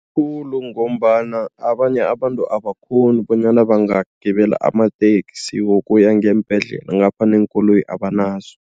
Khulu ngombana abanye abantu abakghoni bonyana bangagibela amateksi wokuya ngeembhedlela ngapha neenkoloyi abanazo.